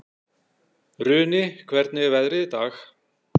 Runi, hvernig er veðrið í dag?